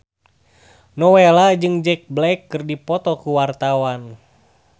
Nowela jeung Jack Black keur dipoto ku wartawan